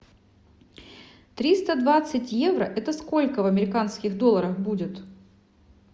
триста двадцать евро это сколько в американских долларах будет